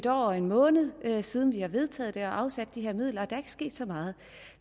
år og en måned siden vi har vedtaget det her og afsat de her midler og der er ikke sket så meget